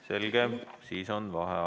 Selge, siis on vaheaeg.